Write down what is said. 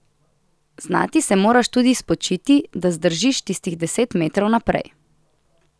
Znati se moraš tudi spočiti, da zdržiš tistih deset metrov naprej.